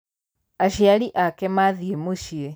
Aciari ake mathiĩmũciĩ.